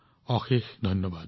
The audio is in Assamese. অশেষ ধন্যবাদ